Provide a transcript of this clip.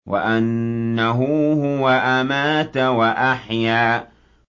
وَأَنَّهُ هُوَ أَمَاتَ وَأَحْيَا